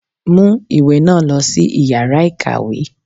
Mu ìwé náà lòsí iyàrá ìkàwé!